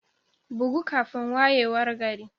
Bugu kafin wayewar gari.